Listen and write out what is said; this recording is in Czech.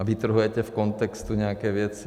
A vytrhujete z kontextu nějaké věci.